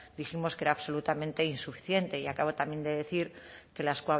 dijimos que era absolutamente insuficiente y acabo también de decir que las